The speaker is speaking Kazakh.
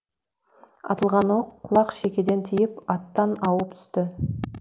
атылған оқ құлақ шекеден тиіп аттан ауып түсті